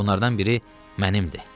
Bunlardan biri mənimdir.